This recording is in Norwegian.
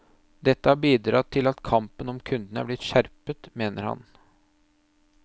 Dette har bidratt til at kampen om kundene er blitt skjerpet, mener han.